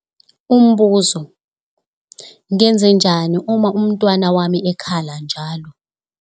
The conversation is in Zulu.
Umbuzo- Ngenzenjani uma umntwana wami ekhala njalo?